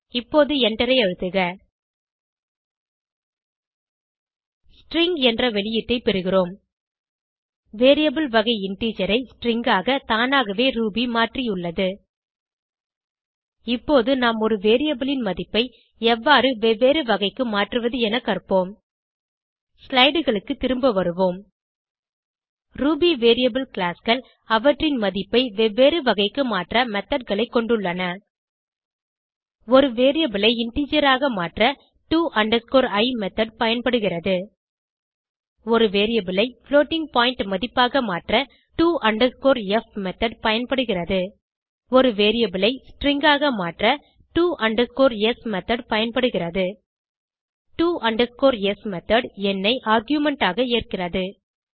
இப்போது எண்டரை அழுத்துக ஸ்ட்ரிங் என்ற வெளியீட்டை பெறுகிறோம் வேரியபிள் வகை இன்டிஜர் ஐ ஸ்ட்ரிங் ஆக தானாகவே ரூபி மாற்றியுள்ளது இப்போது நாம் ஒரு வேரியபிள் ன் மதிப்பை எவ்வாறு வெவ்வேறு வகைக்கு மாற்றுவது என கற்போம் slideகளுக்கு திரும்ப வருவோம் ரூபி வேரியபிள் classeகள் அவற்றின் மதிப்பை வெவ்வேறு வகைக்கு மாற்ற methodகளை கொண்டுள்ளன ஒரு வேரியபிள் ஐ இன்டிஜர் ஆக மாற்ற to i மெத்தோட் பயன்படுகிறது ஒரு வேரியபிள் ஐ புளோட்டிங் பாயிண்ட் மதிப்பாக மாற்ற to f மெத்தோட் பயன்படுகிறது ஒரு வேரியபிள் ஐ ஸ்ட்ரிங் ஆக மாற்ற to s மெத்தோட் பயன்படுகிறது to s மெத்தோட் எண்ணை ஆர்குமென்ட் ஆக ஏற்கிறது